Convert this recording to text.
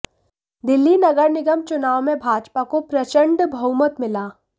दिल्ली नगर निगम चुनाव में भाजपा को प्रचंड बहुमत मिला